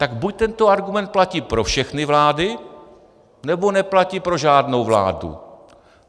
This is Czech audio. Tak buď tento argument platí pro všechny vlády, nebo neplatí pro žádnou vládu.